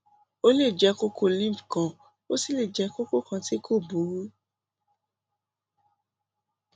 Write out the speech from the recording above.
ó lè jẹ kókó lymph kan ó sì lè jẹ kókó kan tí kò burú